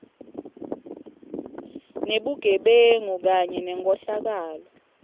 nebugebengu kanye nenkhohlakalo